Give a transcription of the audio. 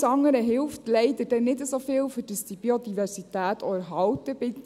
Alles andere hilft leider dann nicht so viel, dass die Biodiversität auch erhalten bleibt.